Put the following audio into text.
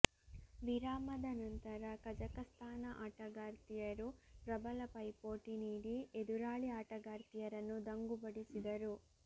ವಿರಾಮದ ನಂತರ ಕಜಕಸ್ತಾನ ಆಟಗಾರ್ತಿಯರು ಪ್ರಬಲ ಪೈಪೋಟಿ ನೀಡಿ ಎದುರಾಳಿ ಆಟಗಾರ್ತಿಯರನ್ನು ದಂಗುಬಡಿಸಿದರು